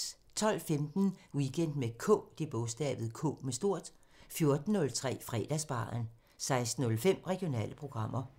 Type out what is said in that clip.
12:15: Weekend med K 14:03: Fredagsbaren 16:05: Regionale programmer